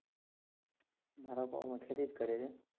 મારા પપ્પા પણ ખેતી જ કરે છે.